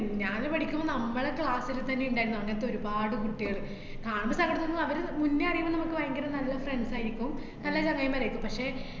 ഞാന് പഠിക്കുമ്പോ നമ്മള് class ല്ത്തന്നെ ഇണ്ടായിര്ന്ന്അ ങ്ങനത്തൊരുപാട് കുട്ടികള്. കാണുമ്പോ സങ്കടം തോന്നും അവരെ മുന്നേ അറിയുമ്പോ നമക്ക് ബയങ്കര നല്ല friends ആയിരിക്കും നല്ല ചങ്ങായിമാരായിരിക്കും പക്ഷേ